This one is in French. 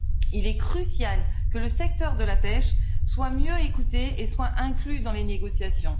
Il est crucial que le secteur de la pêche soit mieux écouté et soit inclus dans les négociations.